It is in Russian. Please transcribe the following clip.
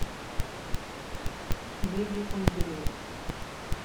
медиком билет